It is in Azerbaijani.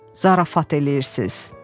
"Zarafat eləyirsiniz?"